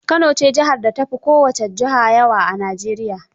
Kano ce jihar da ta fi kowace juha yawa a Najeriya.